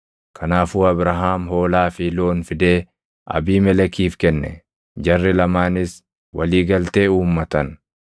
Kanaafuu Abrahaam hoolaa fi loon fidee Abiimelekiif kenne; jarri lamaanis walii galtee uummatan.